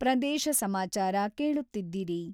ಪದೇಶ ಸಮಾಚಾರ ಕೇಳುತ್ತೀದ್ದಿರಿ....